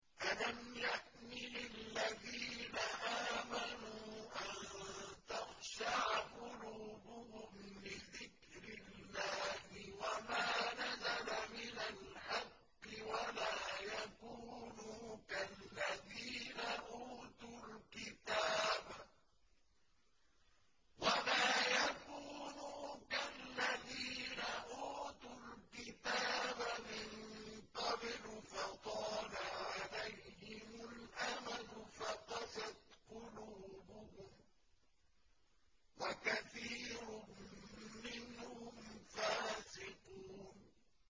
۞ أَلَمْ يَأْنِ لِلَّذِينَ آمَنُوا أَن تَخْشَعَ قُلُوبُهُمْ لِذِكْرِ اللَّهِ وَمَا نَزَلَ مِنَ الْحَقِّ وَلَا يَكُونُوا كَالَّذِينَ أُوتُوا الْكِتَابَ مِن قَبْلُ فَطَالَ عَلَيْهِمُ الْأَمَدُ فَقَسَتْ قُلُوبُهُمْ ۖ وَكَثِيرٌ مِّنْهُمْ فَاسِقُونَ